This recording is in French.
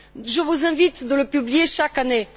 Je vous invite à le publier chaque année.